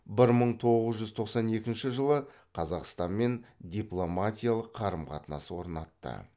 бір мың тоғыз жүз тоқсан екінші жылы қазақстанмен дипломатиялық қарым қатынас орнатты